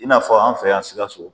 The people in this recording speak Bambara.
I n'a fɔ an fɛ yan Sikaso.